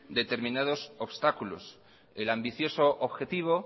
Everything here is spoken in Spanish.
determinados obstáculos el ambicioso objetivo